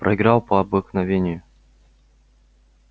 проиграл по обыкновению